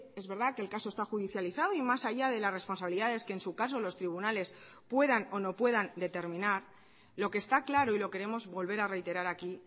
es verdad que el caso está judicializado y más allá de las responsabilidades que en su caso los tribunales puedan o no puedan determinar lo que está claro y lo queremos volver a reiterar aquí